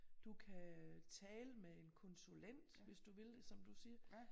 Du kan øh tale med en konsulent hvis du vil det som du siger